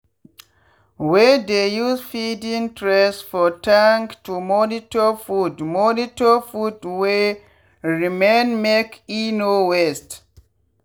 we dey use feeding trays for tank to monitor food monitor food wey remainmake e no waste.